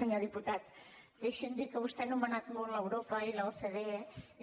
senyor diputat deixi’m dir que vostè ha anomenat molt europa i l’ocde